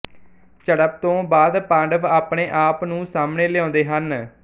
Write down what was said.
ਝੜਪ ਤੋਂ ਬਾਅਦ ਪਾਂਡਵ ਆਪਣੇਆਪ ਨੂੰ ਸਾਹਮਣੇ ਲਿਆਉਂਦੇ ਹਨ